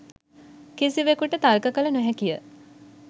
කිසිවෙකුට තර්ක කල නොහැකිය